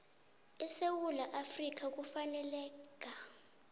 sesewula afrika ufaneleka